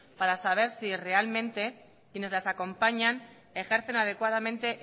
para saber si realmente quienes las acompañan ejercen adecuadamente